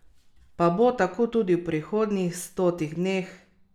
Pa bo tako tudi v prihodnjih stotih dneh?